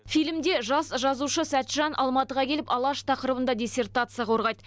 фильмде жас жазушы сәтжан алматыға келіп алаш тақырыбында диссертация қорғайды